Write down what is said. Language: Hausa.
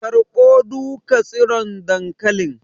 Karɓo duka tsiron dankalin